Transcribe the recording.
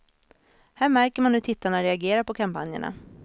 Här märker man hur tittarna reagerar på kampanjerna.